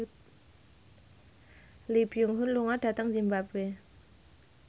Lee Byung Hun lunga dhateng zimbabwe